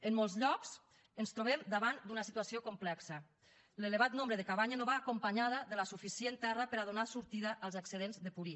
en molts llocs ens trobem davant d’una situació complexa l’elevat nombre de cabanya no va acompanyada de la suficient terra per a donar sortida als excedents de purí